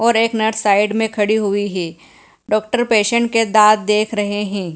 और एक nurse side में खड़ी हुई है डॉक्टर पेशेंट के दांत देख रहे हैं।